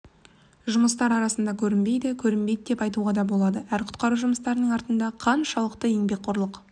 жұмыстары арасында көрінбейді көрінбейді деп те айтуға да болады әр құтқару жұмыстарының артында қаншалықты еңбекқорлық